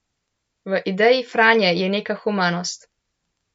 V ideji Franje je neka humanost.